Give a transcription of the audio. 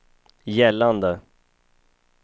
gällande